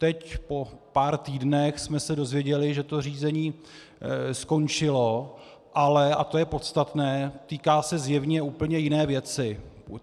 Teď po pár týdnech jsme se dozvěděli, že to řízení skončilo, ale - a to je podstatné - týká se zjevně úplně jiné věci.